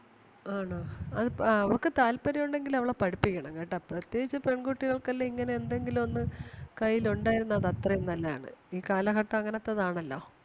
ആണോ അവൾ~അവൾക്ക് താല്പര്യം ഒണ്ടെങ്കിൽ അവളെ പഠിപ്പിക്കണം കേട്ടാ പ്രത്യേകിച്ച് പെൺകുട്ടികൾക്ക് എല്ലാം ഇങ്ങനെ എന്തെങ്കിലും ഒന്ന് കയ്യിൽ ഒണ്ടാരുന്ന അത് അത്രേം നല്ലതാണ് ഈ കാലഘട്ടം അങ്ങനത്തെത് ആണല്ലോ.